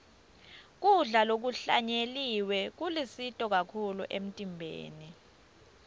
kudla lokuhlanyeliwe kulusito kakhulu emtimbeni